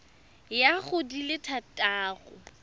ya go di le thataro